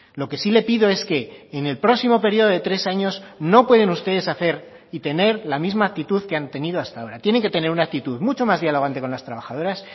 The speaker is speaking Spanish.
lo que sí le pido es que en el próximo periodo de tres años no pueden ustedes hacer y tener la misma actitud que han tenido hasta ahora tienen que tener una actitud mucho más dialogante con las trabajadoras